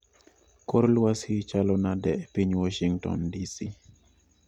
Kor lwasi chalo nade epiny washington dc